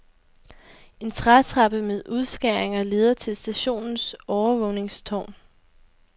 En trætrappe med udskæringer leder til stationens overvågningstårn.